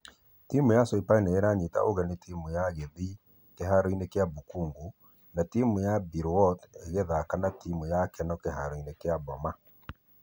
Timũ ya soipan nĩmaranyita ũgeni timũ ya gĩthii kĩharo-inĩ gia bukhungu , na timũ ya bilwot ĩgĩthaka na timũ ya kenol kĩharo-inĩ gia boma.